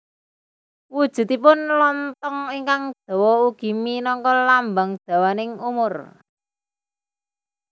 Wujudipun lonthong ingkang dawa ugi minangka lambang dawaning umur